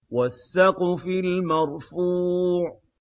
وَالسَّقْفِ الْمَرْفُوعِ